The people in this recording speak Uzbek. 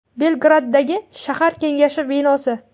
Belgraddagi shahar kengashi binosi.